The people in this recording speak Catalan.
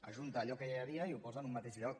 ajunta allò que ja hi havia i ho posa en un mateix lloc